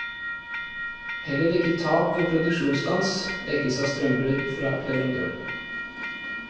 Heller ikke tap ved produksjonsstans dekkes av strømbrudd fra leverandøren.